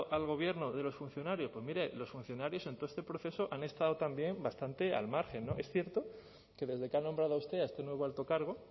al gobierno de los funcionarios pues mire los funcionarios en todo este proceso han estado también bastante al margen es cierto que desde que ha nombrado a usted a este nuevo alto cargo